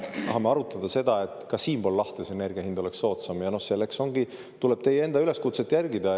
Me tahame arutada seda, et ka siinpool lahte oleks energia hind soodsam, ja selleks tulebki teie enda üleskutset järgida.